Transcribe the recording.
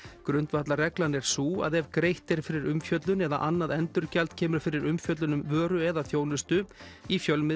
grundvallarreglan er sú að ef greitt er fyrir umfjöllun eða annað endurgjald kemur fyrir umfjöllun um vöru eða þjónustu í fjölmiðli